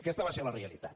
aquesta va ser la realitat